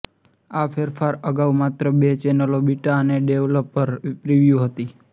આ ફેરફાર અગાઉ માત્ર બે ચેનલોઃ બિટા અને ડેવલપર પ્રિવ્યૂ હતી